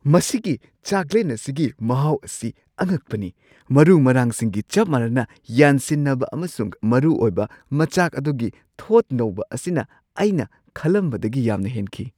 ꯃꯁꯤꯒꯤ ꯆꯥꯛꯂꯦꯟ ꯑꯁꯤꯒꯤ ꯃꯍꯥꯎ ꯑꯁꯤ ꯑꯉꯛꯄꯅꯤ; ꯃꯔꯨ-ꯃꯔꯥꯡꯁꯤꯡꯒꯤ ꯆꯞ ꯃꯥꯟꯅꯅ ꯌꯥꯟꯁꯤꯟꯅꯕ ꯑꯃꯁꯨꯡ ꯃꯔꯨꯑꯣꯏꯕ ꯃꯆꯥꯛ ꯑꯗꯨꯒꯤ ꯊꯣꯠ ꯅꯧꯕ ꯑꯁꯤꯅ ꯑꯩꯅ ꯈꯜꯂꯝꯕꯗꯒꯤ ꯌꯥꯝꯅ ꯍꯦꯟꯈꯤ ꯫